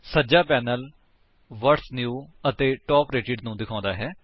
ਸੱਜਾ panel what's new ਅਤੇ top rated ਨੂੰ ਦਿਖਾਉਂਦਾ ਹੈ